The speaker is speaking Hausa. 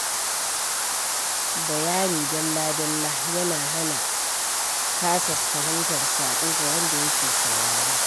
Bayani dalla-dalla yana hana kasa fahimtar saƙo ga wanda ya ke saurare.